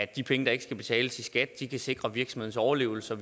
de penge der ikke skal betales i skat kan sikre virksomhedens overlevelse